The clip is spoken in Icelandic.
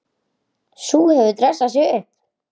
Sú hefur dressað sig upp!